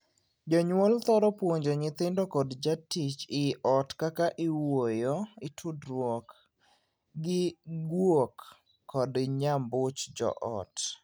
Jonyuol thoro puonjo nyithindo kod jatij ii ot kaka iwuoyo (itudruok) gi guok kod nyambuch joot.